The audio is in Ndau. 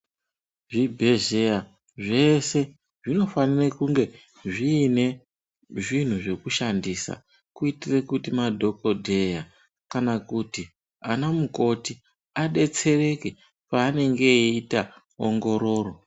Zvibhedhlera zvese zvinofanire kunge zviine zvinhu zvekushandisa kuitire kuti madhokodheya kana kuti ana mukoti adetsereke paanenge eyiita ongororo.